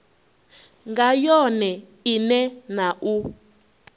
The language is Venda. nga yone ine na u